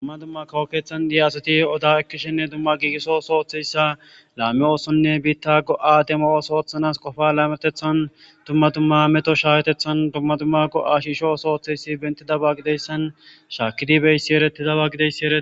dumma dumma kawokethan diyaasoti oda ekkishenne dumma giigiso sooththeyssa laami oosonne biitta go'ademooos ooththanas qofa laametethan dumma dumma meto shaawetethan dumma dumma go'a shisho sooththeyssi bentidaba gideyssan shaakidi beyssi eretidaba gideyss ere